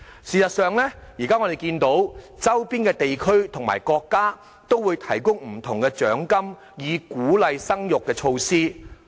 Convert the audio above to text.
事實上，我們現時看到，周邊地區及國家都會提供不同的獎金等鼓勵生育的措施。